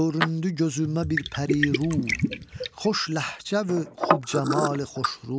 Göründü gözümə bir pəriru, xoş ləhcəvü xub cəmalı xoşru.